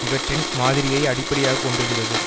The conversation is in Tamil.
இவற்றின் மாதிரியை அடிப்படையாக கொண்டிருந்தது